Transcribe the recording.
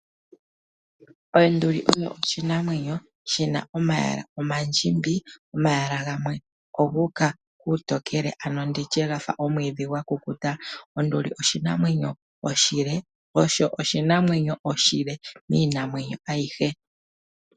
Onduli oyo oshinamwenyo, shina omayala omandjimbi, omayala gamwe ogu uka kuutokele, ano nditye omwiidhi gwakukuta. Onduli oshinamwenyo oshile, ano oyo oshinamwenyo oshile miinamwenyo ayihe.